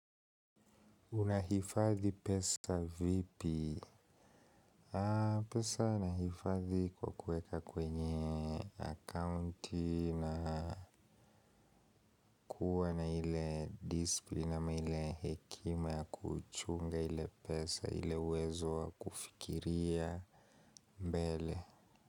Unahifadhi pesa vipi? Pesa unahifadhi kwa kuweka kwenye account na kuwa na ile disiplin ama ile hekima ya kuchunga ile pesa ile uwezo wa kufikiria mbele.